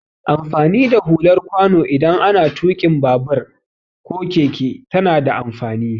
Amfani da hular kwano idan ana tuƙa babur ko keke tana da amfani.